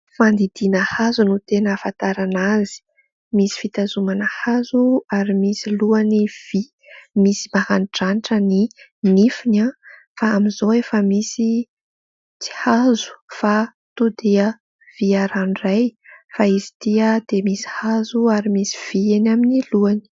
Fandidiana hazo no tena ahafantarana azy. Misy fitazomana hazo ary misy lohany vy. Misy maranidranitra ny nifiny; fa amin'izao efa misy tsy hazo fa tonga dia vy ranoray; fa izy ity dia misy hazo ary misy vy eny amin'ny lohany.